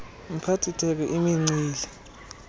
mphathi theko imincili